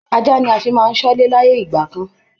Ajá ni a fi máa ń ṣọ́lé láyé ìgbà kan